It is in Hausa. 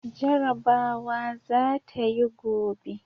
Jarabawa za ta yi gobe!